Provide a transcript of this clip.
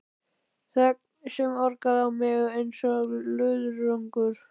Þögn sem orkaði á mig einsog löðrungur.